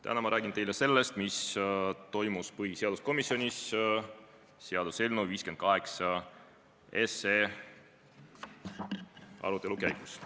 Täna ma räägin teile sellest, mis toimus põhiseaduskomisjonis seaduseelnõu 58 arutelu käigus.